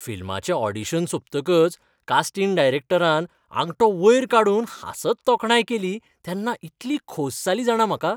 फिल्माचे audition सोंपतकच casting डायरेक्टरान आंगठो वयर काडून हांसत तोखणाय केली तेन्ना इतली खोस जाली जाणा म्हाका.